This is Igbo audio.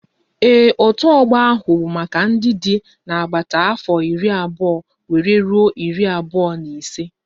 Ee, otu ọgbọ ahụ bụ maka ndị dị n'agbata afọ iri abụọ wéré rụọ iri abụọ na ise